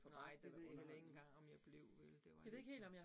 Nej, det ved jeg heller ikke engang, om jeg blev vel, det var lidt